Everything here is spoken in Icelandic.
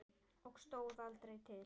Og stóð aldrei til.